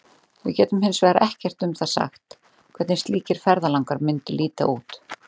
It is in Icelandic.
Við getum hins vegar ekkert um það sagt hvernig slíkir ferðalangar mundu líta út.